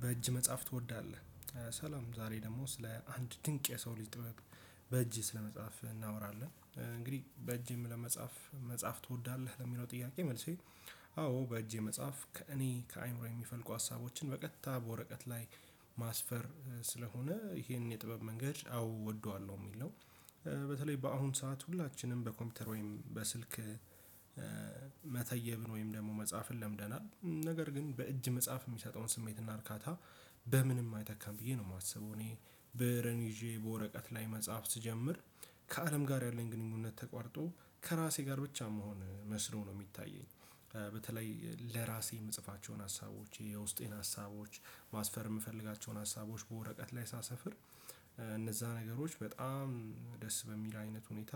በእጅ መጻፍ ትወዳለህ? ሰላም ዛሬ ደግሞ ስለ አንድ ድንቅ የሰው ልጅ ጥበብ በእጅ ስለመጻፍ እናወራለን። እንግዲህ በእጅም ለመጻፍ መጻፍ ትወዳለህ ለሚለው ጥያቄ መልሴ አዎ በእጄ መጻፍ ከእኔ ከአእይምሮ የሚፈልቁ ሀሳቦችን በቀጥታ በወረቀት ላይ ማስፈር ስለሆነ ይሄንን የጥበብ መንገድ አዎ እወደዋለሁ የሚል ነው። በተለይ በአሁን ሰዓት ሁላችንም በኮምፒውተር ወይም በስልክ መተየብን ወይም ደግሞ መጻፍን ለምደናል። ነገር ግን በእጅ መጻፍ የሚሰጠውን ስሜትና እርካታ በምንም አይተካም ብዬ ነው የማስበው። እኔ ብእርን ይዤ በወረቀት ላይ መጻፍ ስጀምር ከአለም ጋር ያለኝ ግንኙነት ተቋርጦ ከራሴ ጋር ብቻ የምሆን መስሎ ነው የሚታየኝ። በተለይ ለራሴ የምጽፋቸውን ሀሳቦች የውስጤን ሀሳቦች ማስፈር የምፈልጋቸውን ሀሳቦች በወረቀት ላይ ሳሰፍር እነዛ ነገሮች በጣም ደስ በሚል አይነት ሁኔታ።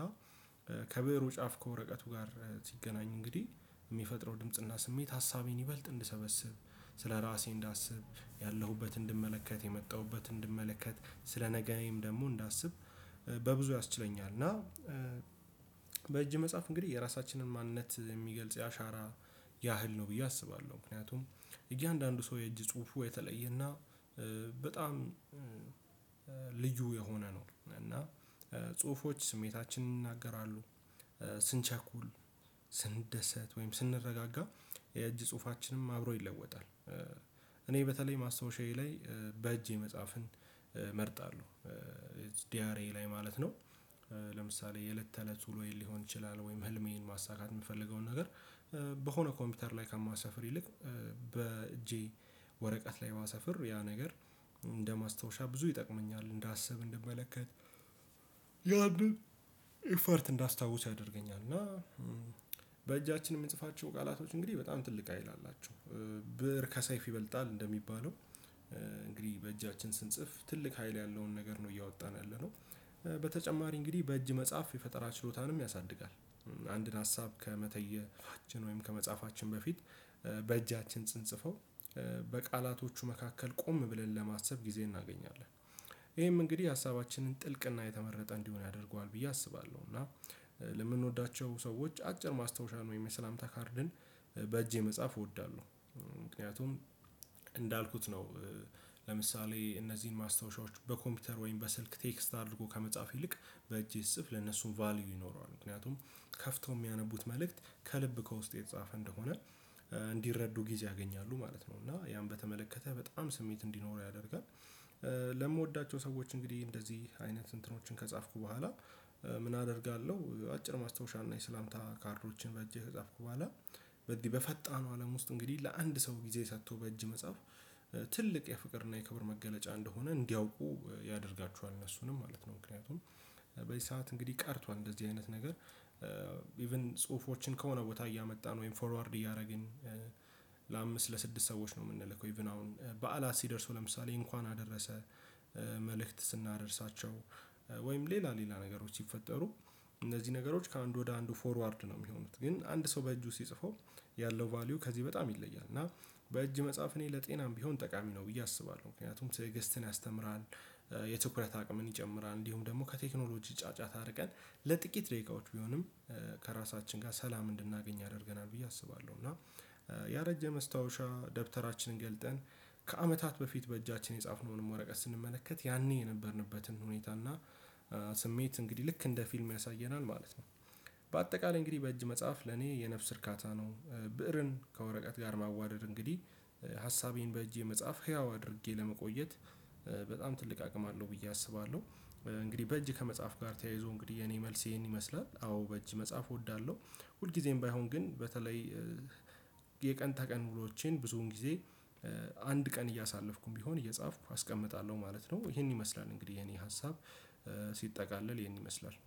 ከብዕሩ ጫፍ ከወረቀቱ ጋር ሲገናኝ እንግዲህ የሚፈጥረው ድምጽና ስሜት ሀሳቤን ይበልጥ እንድሰበስብ ስለራሴ እንዳስብ ያለሁበትን እንድመለከት የመጣሁበትን እንድመለከት ስለነገዬም ደግሞ እንዳስብ በብዙ ያስችለኛል። እና በእጅ መጽሐፍ እንግዲህ የራሳችንን ማንነት የሚገልጽ የአሻራ ያህል ነው ብዬ አስባለሁ። ምክንያቱም እያንዳንዱ ሰው የእጅ ጽሁፉ የተለየና በጣም ልዩ የሆነ ነው። እና ጽሁፎች ስሜታችንን ይናገራሉ። ስንቸኩል ስንደሰት ወይም ስንረጋጋ የእጅ ጽሁፋችንም አብሮ ይለወጣል። እኔ በተለይ ማስታወሻዬ ላይ በእጄ መጻፍን እመርጣለሁ። ዲያሬዬ ላይ ማለት ነው። ለምሳሌ የለት ተለት ውሎዬን ሊሆን ይችላል ወይም ህልሜን ማሳካት የምፈልገውን ነገር በሆነ ኮምፒውተር ላይ ከማሰፍር ይልቅ በእጄ ወረቀት ላይ ባሰፍር ያ ነገር እንደ ማስታወሻ ብዙ ይጠቅመኛል እንዳስብ እንደምመለከት ያንን ኢፈርት እንዳስታውሰው ያደርገኛል። እና በእጃችን የምንጽፋቸው ቃላቶች እንግዲህ በጣም ትልቅ ሀይል አላቸው ብእር ከሰይፍ ይበልጣል እንደሚባለው እንግዲህ በእጃችን ስንጽፍ ትልቅ ሀይል ያለውን ነገር ነው እያወጣን ያለነው። በተጨማሪ እንግዲህ በእጅ መጽሐፍ የፈጠራ ችሎታንም ያሳድጋል። አንድን ሀሳብ ከመተየባችን ወይም ከመጻፋችን በፊት በእጃችን ስንጽፈው በቃላቶቹ መካከል ቆም ብለን ለማሰብ ጊዜ እናገኛለን ይሄም እንግዲህ ሀሳባችንን ጥልቅና የተመረጠ እንዲሆን ያደርገዋል ብዬ አስባለሁ። እና ለምንወዳቸው ሰዎች አጭር ማስታወሻ ወይም የሰላምታ ካርድን በእጄ መጻፍ እወዳለሁ። ምክንያቱም ነው ለምሳሌ እነዚህን ማስታወሻዎች በኮምፒውተር ወይም በስልክ ቴክስት አድርጎ ከመጻፍ ይልቅ በእጅ ስጽፍ ለነሱም ቫልዩ ይኖረዋል ምክንያቱም ከፍተው የሚያነቡት መልእክት ከልብ ከውስጤ የተጻፈ እንደሆነ እንዲረዱ ጊዜ ያገኛሉ ማለት ነው። እና ያን በተመለከተ በጣም ስሜት እንዲኖረው ያደርጋል። ለምወዳቸው ሰዎች እንግዲህ እንደዚህ አይነት እንትኖችን ከጻፍኩ በኋላ ምን አደርጋለሁ? አጭር ማስታወሻና የሰላምታ ካርዶችን በእጄ ከጻፍኩ በኋላ በዚህ በፈጣኑ አለም ውስጥ እንግዲህ ለአንድ ሰው ጊዜ ሰጥቶ በእጅ መጽሐፍ ትልቅ የፍቅርና የክብር መገለጫ እንደሆነ እንዲያውቁ ያደርጋቸዋል። እነሱንም ማለት ነው ምክንያቱም በዚህ ሰዓት እንግዲህ ቀርቷል እንደዚህ አይነት ነገር ኢሽን ጽሁፎችን ከሆነ ቦታ እያመጣን ወይም ፎርዋርድ እያደረግን ለአምስት ለስድስት ሰዎች ነው የምንልከው። ኢቭን አሁን በዓላት ሲደርሱ ለምሳሌ እንኳን አደረሰህ። መልእክት ስናደርሳቸው ወይም ሌላ ሌላ ነገሮች ሲፈጠሩ እነዚህ ነገሮች ከአንዱ ወደ አንዱ ፎርዋርድ ነው የሚሆኑት ግን አንድ ሰው በእጁ ሲጽፈው ያለው ቫልዩ ከዚህ በጣም ይለያል። እና በእጅ መጻፍ እኔ ለጤናም ቢሆን ጠቃሚ ነው ብዬ አስባለሁ ምክንያቱም ትእግስትን ያስተምራል የትኩረት አቅምን ይጨምራል እንዲሁም ደግሞ ከቴክኖሎጂ ጫጫታ አርቀን ለጥቂት ደቂቃዎች ቢሆንም ከራሳችን ጋር ሰላም እንድናገኝ ያደርገናል ብዬ አስባለሁ። እና ያረጀ መስታወሻ ደብተራችንን ገልጠን ከአመታት በፊት በእጃችን የጻፍነውን ወረቀት ስንመለከት ያኔ የነበርንበትን ሁኔታ እና ስሜት እንግዲህ ልክ እንደ ፊልም ያሳየናል ማለት ነው። በአጠቃላይ እንግዲህ በእጅ መጽሐፍ ለኔ የነፍስ እርካታ ነው። ብእርን ከወረቀት ጋር ማዋደድ እንግዲህ ሀሳቤን በእጄ መጻፍ ህያው አድርጌ ለመቆየት በጣም ትልቅ አቅም አለው ብዬ አስባለሁ። እንግዲህ በእጅ ከመጽሐፍ ጋር ተያይዞ እንግዲህ የኔ መልሴን ይመስላል አዎ በእጅ መጽሐፍ እወዳለሁ። ሁልጊዜም ባይሆን ግን በተለይ የቀን ተቀን ውሎዎቼን ብዙውን ጊዜ አንድ ቀን እያሳለፍኩም ቢሆን እየጻፍኩ አስቀምጣለሁ ማለት ነው። ይሄን ይመስላል እንግዲህ የኔ ሀሳብ ሲጠቃለል ይሄን ይመስላል።